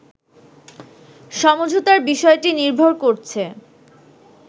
সমঝোতার বিষয়টি নির্ভর করছে